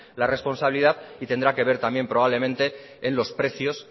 la responsabilidad y tendrá que ver también probablemente en los precios